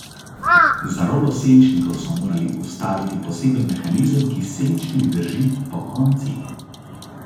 Za rolo senčnikov so morali vstaviti poseben mehanizem, ki senčnik drži pokonci.